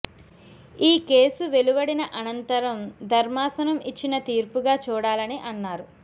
ఈ కేసు వెలువడిన అనంతరం ధర్మాసనం ఇచ్చిన తీర్పుగా చూడాలని అన్నారు